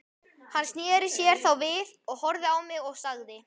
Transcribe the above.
Hann sneri sér þá við, horfði á mig og sagði